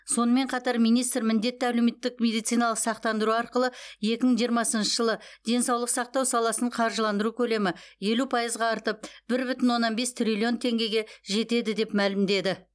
сонымен қатар министр міндетті әлеуметтік медициналық сақтандыру арқылы екі мың жиырмасыншы жылы денсаулық сақтау саласын қаржыландыру көлемі елу пайызға артып бір бүтін оннан бес триллион теңгеге жетеді деп мәлімдеді